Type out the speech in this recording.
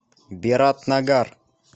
биратнагар